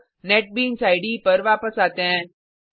अब NetBeans IDE पर वापस आते हैं